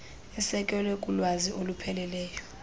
esekelwe kulwazi olupheleleyo